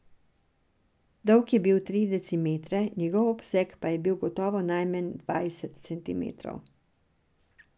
Dolg je bil tri decimetre, njegov obseg pa je bil gotovo najmanj dvajset centimetrov.